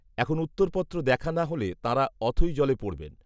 এখন উত্তরপত্র দেখা না হলে তাঁরা অথৈ জলে পড়বেন